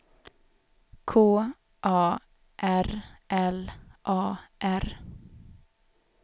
K A R L A R